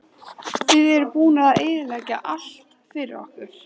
Þið eruð búnar að eyðileggja allt fyrir okkur